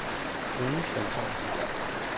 Bruno Svensson